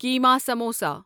کیما samosa